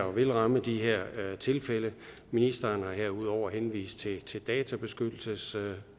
vil ramme de her tilfælde ministeren har herudover henvist til til databeskyttelsesregler